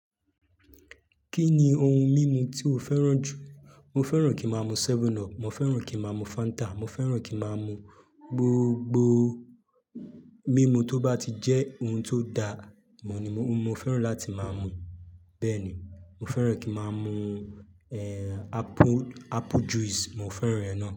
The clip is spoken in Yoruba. Kí ni ohun mímu tí o fẹ́ràn jù? Mo fẹ́ràn kí máa mu 7up, mo fẹ́ràn kí máa mu Fanta, mo fẹ́ràn kí máa mu gbogbo mímu tó bá ti jẹ́ ohun tó da, mo ní mo, mo fẹ́ràn láti máa mu. Bẹ́ẹ̀ ni, mo fẹ́ràn kí máa mu, eh, apple, apple juice, mo fẹ́ràn rẹ̀ náà.